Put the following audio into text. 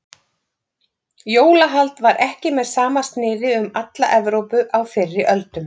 Jólahald var ekki með sama sniði um alla Evrópu á fyrri öldum.